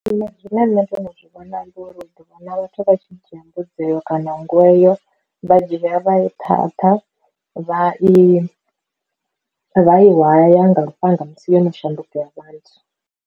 Nṋe zwine nṋe ndo no zwi vhona uri u ḓi vhona vhathu vha tshi dzhia mbudzi eyo kana nngu eyo vha dzhia vha i thatha vha i vha i waya nga lufhanga musi yo no shanduka ya vha nthu.